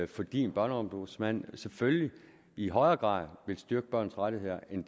fordi en børneombudsmand selvfølgelig i højere grad vil styrke børns rettigheder end